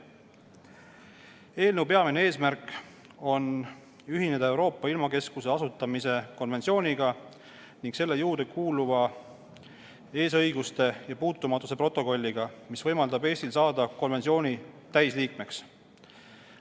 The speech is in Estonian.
Eelnõu peamine eesmärk on ühineda Euroopa ilmakeskuse asutamise konventsiooniga ning selle juurde kuuluva eesõiguste ja puutumatuse protokolliga, mis võimaldab Eestil saada konventsiooni täisliikmeks.